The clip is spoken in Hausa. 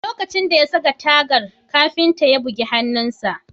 A lokacin da ya saka tagar, kafinta ya bugi hannunsa